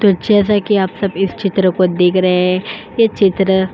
तो जैसे कि आप सब इस चित्र को देख रहे है ये चित्र --